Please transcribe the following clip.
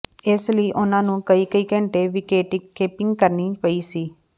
ਇਸ ਲਈ ਉਨ੍ਹਾਂ ਨੂੰ ਕਈ ਕਈ ਘੰਟੇ ਵਿਕੇਟਕੀਪਿੰਗ ਕਰਨੀ ਪਈ ਸੀ